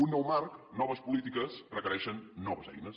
un nou marc noves polítiques requereixen noves eines